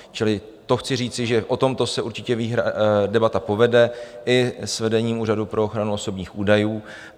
Čili to chci říci, že o tomto se určitě debata povede i s vedením Úřadu pro ochranu osobních údajů.